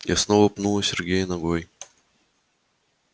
я снова пнула сергея ногой